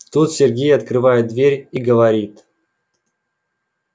тут сергей открывает дверь и говорит